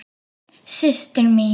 Systir mín.